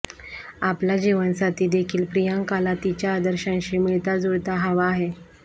आपला जीवनसाथी देखील प्रियांकाला तिच्या आदर्शांशी मिळताजुळता हवा आहे